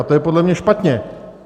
A to je podle mě špatně.